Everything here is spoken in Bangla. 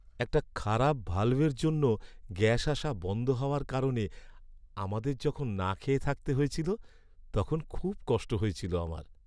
একটা খারাপ ভাল্ভের জন্য গ্যাস আসা বন্ধ হওয়ার কারণে আমাদের যখন না খেয়ে থাকতে হয়েছিল তখন খুব কষ্ট হয়েছিল আমার।